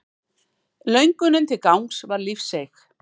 Löngunin til gangs var lífseig.